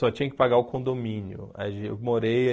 Só tinha que pagar o condomínio. Aí eu morei